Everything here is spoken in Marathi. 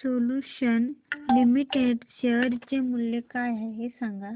सोल्यूशन्स लिमिटेड शेअर चे मूल्य काय आहे हे सांगा